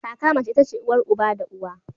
Kaka mace itace uwar uba da uwa.